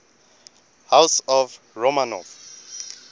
house of romanov